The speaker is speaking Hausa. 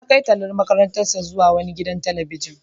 Ya kai tallan makarantar zuwa wani gidan talabijin.